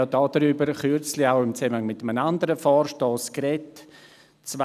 Wir haben kürzlich im Zusammenhang mit einem anderen Vorstoss darüber gesprochen.